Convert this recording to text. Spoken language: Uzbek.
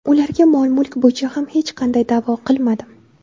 Ularga mol-mulk bo‘yicha ham hech qanday da’vo qilmadim.